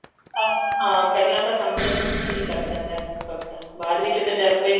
ਸਮਝ ਹਾਂ ਪਹਿਲਾਂ ਤਾਂ ਸਮਝਣ ਵਿੱਚ ਹੀ ਲੱਗ ਜਾਂਦਾ ਵਕ਼ਤ ਬਾਅਦ ਵਿੱਚ ਤਜਰਬੇ